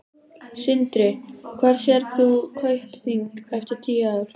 Sindri: Hvar sérð þú Kaupþing eftir tíu ár?